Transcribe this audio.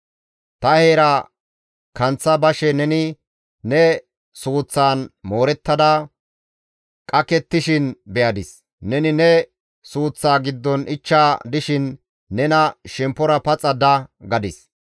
«Ta heera kanththa bashe neni ne suuththaan moorettada qakettishin be7adis; neni ne suuththa giddon ichcha dishin ta nena, ‹Shemppora paxa da› gadis.